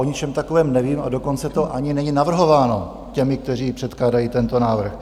O ničem takovém nevím, a dokonce to ani není navrhováno těmi, kteří předkládají tento návrh.